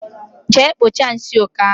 Jee kpocha nsị oké ahụ